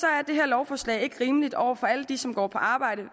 er det her lovforslag ikke rimeligt over for alle dem som går på arbejde